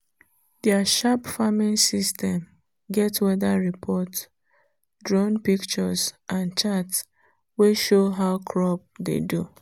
their sharp farming system get weather report drone pictures and chart wey show how crop dey do.